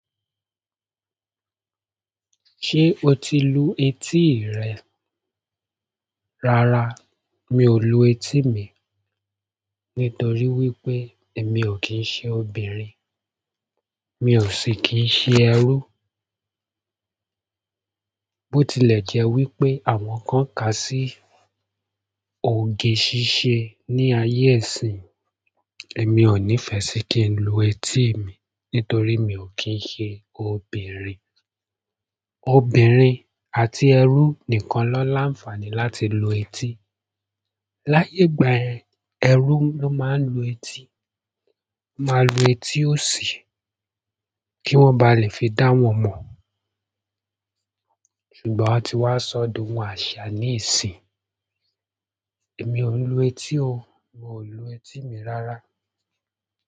Ṣé o ti lu etí rẹ? Rárá, mi ò lu etí mi. Nítorí wípé èmi ò kí ń ṣe obìnrin, mi ò sì kì ń ṣe ẹrú. Bó tilẹ̀ jẹ́ wípé àwọn kan kà sí òge ṣíṣe ní ayé iṣin, èmi ò nífẹ́ sì kí ń lu etí mi nítorí mi ò kí ń ṣe obìnrin. Obìnrin àti ẹrú nìkan ló láǹfààní láti lu etí. Láyé ìgbà yẹn, ẹrú ló máa ń lu etí, máa lu etí òṣì kí wọ́n ba à lè fi dá wọn mọ̀. Ṣùgbọ́n a ti wá sọ̀ dohun àṣà ní ìsinyìí. Èmi ò lu etí o, mi ò lu etí mi rárá.